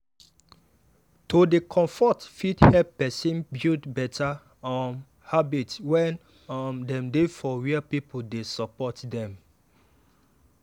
to dey comfort fit help person build better um habit when um dem dey for where people dey support dem.